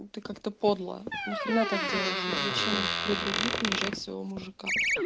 ну ты как-то подло нахрена так делать зачем при других унижать своего мужика